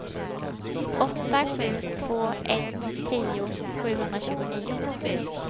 åtta sju två ett tio sjuhundratjugonio